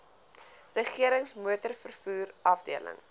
regerings motorvervoer afdeling